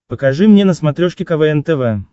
покажи мне на смотрешке квн тв